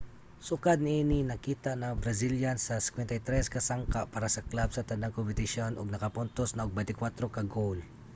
sukad niini nakita na ang brazilian sa 53 ka sangka para sa club sa tanang kompetisyon ug nakapuntos na og 24 ka goal